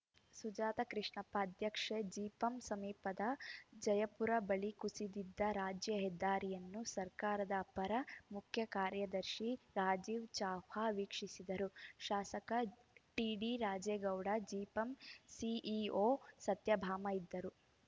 ಸುಜಾತ ಕೃಷ್ಣಪ್ಪ ಅಧ್ಯಕ್ಷೆ ಜಿಪಂ ಸಮೀಪದ ಜಯಪುರ ಬಳಿ ಕುಸಿದಿದ್ದ ರಾಜ್ಯ ಹೆದ್ದಾರಿಯನ್ನು ಸರ್ಕಾರದ ಅಪರ ಮುಖ್ಯ ಕಾರ್ಯದರ್ಶಿ ರಾಜೀವ್‌ ಚಾವ್ಲಾ ವೀಕ್ಷಿಸಿದರು ಶಾಸಕ ಟಿಡಿರಾಜೇಗೌಡ ಜಿಪಂ ಸಿಇಒ ಸತ್ಯಭಾಮ ಇದ್ದರು